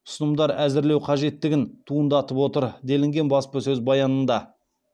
ұсынымдар әзірлеу қажеттігін туындатып отыр делінген баспасөз баянында